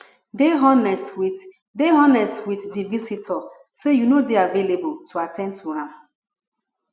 dey honest with dey honest with di visitor sey you no dey available to at ten d to am